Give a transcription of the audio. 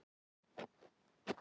Það held ég varla.